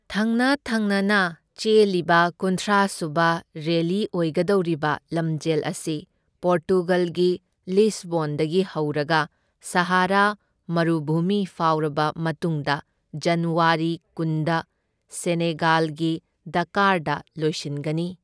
ꯊꯪꯅ ꯊꯪꯅꯅ ꯆꯦꯜꯂꯤꯕ ꯀꯨꯟꯊ꯭ꯔꯥ ꯁꯨꯕ ꯔꯦꯂꯤ ꯑꯣꯏꯒꯗꯧꯔꯤꯕ ꯂꯝꯖꯦꯜ ꯑꯁꯤ ꯄꯣꯔꯇꯨꯒꯜꯒꯤ ꯂꯤꯁꯕꯣꯟꯗꯒꯤ ꯍꯧꯔꯒ ꯁꯥꯍꯔꯥ ꯃꯔꯨꯚꯨꯃꯤ ꯐꯥꯎꯔꯕ ꯃꯇꯨꯡꯗ ꯖꯟꯋꯥꯔꯤ ꯀꯨꯟꯗ ꯁꯦꯅꯦꯒꯥꯜꯒꯤ ꯗꯥꯀꯔꯗ ꯂꯣꯢꯁꯤꯟꯒꯅꯤ꯫